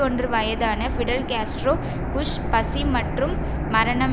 ஒன்று வயதான Fidel Castro Bush பசி மற்றும் மரணம்